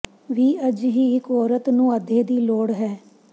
ਵੀ ਅਜਿਹੀ ਇੱਕ ਔਰਤ ਨੂੰ ਅੱਧੇ ਦੀ ਲੋੜ ਹੈ